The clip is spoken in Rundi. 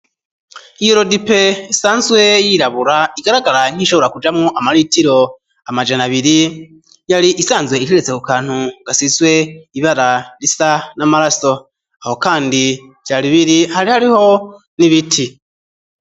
I erodipe sanzwe yirabura igaragara nk'ishobora kujamwo amaritiro amajana abiri yari isanzwe iteretse ku kantu ngasizwe ibara risa n'amaraso aho, kandi vya ribiri hari hariho n'ibiti.